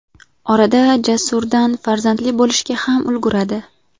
Orada Jasurdan farzandli bo‘lishga ham ulguradi.